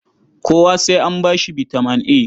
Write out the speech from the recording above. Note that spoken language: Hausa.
Kowa sai an ba shi bitaman A?